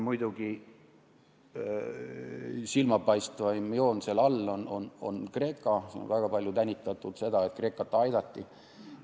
Muidugi, silmapaistvaim joon on seal all Kreekal, seda on väga palju tänitatud, et Kreekat aidati.